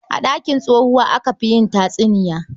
A ɗakin tsohuwa aka fi yin tatsuniya